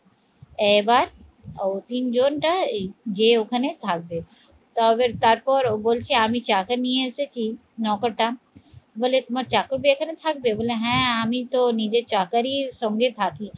এবার ও তিনজন টা এই যে ওখানে থাকবে তবে তারপর ও বলছে আমি চা টা নিয়ে এসেছি নৌকার টা বলে তোমার চাকরা এখানে থাকবে বললো হ্যাঁ আমি তো নিজে চাকরির সঙ্গে থাকি